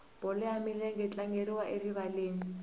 bolo ya milenge yi tlangeriwa erivaleni